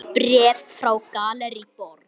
Bréf frá Gallerí Borg.